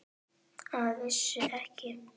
Að vísu ekki.